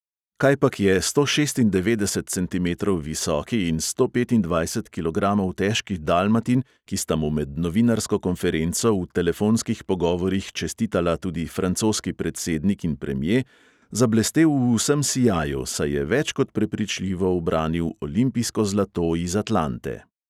Kajpak je sto šestindevetdeset centimetrov visoki in sto petindvajset kilogramov težki dalmatin, ki sta mu med novinarsko konferenco v telefonskih pogovorih čestitala tudi francoski predsednik in premje, zablestel v vsem sijaju, saj je več kot prepričljivo ubranil olimpijsko zlato iz atlante.